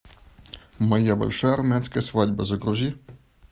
моя большая армянская свадьба загрузи